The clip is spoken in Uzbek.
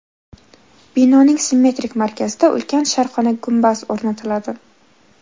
Binoning simmetrik markazida ulkan sharqona gumbaz o‘rnatiladi.